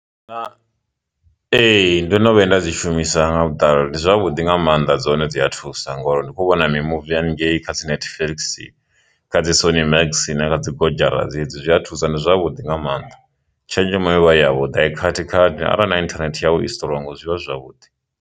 Ee, ndo no vhuya nda dzi shumisa nga vhuṱali ndi zwavhuḓi nga maanḓa dzone dzi a thusa ngori ndi kho vhona mimuvi hangei kha dzi netflix kha dzi sony max na kha dzi godzhara dzedzi zwi a thusa ndi zwavhuḓi nga maanḓa, tshenzhemo yovha i ya vhuḓi a i khathikhathi arali na internet yau i strong zwivha zwi zwavhuḓi.